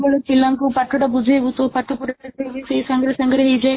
ପିଲାଙ୍କୁ ପାଠଟା ବୁଝେଇବୁ ତୋ ପାଠ ପୁରା ସେଇ ସାଙ୍ଗରେ ସାଙ୍ଗରେ ହେଇଯାଏ